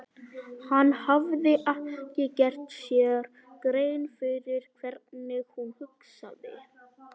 Hann hafði ekki gert sér grein fyrir hvernig hún hugsaði.